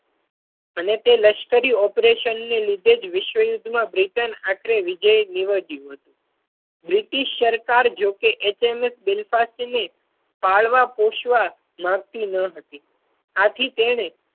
અને તે લશ્કરી ઓપરેશન ને લીધે જ વિશ્વ યુદ્ધ માં બ્રિટન આખરે વિજયી નિવડ્યું હતું. બ્રિટિશ સરકાર જો કે HMS Belfast ને પાળવા પોષવા માંગતી ના હતી આથી તેણે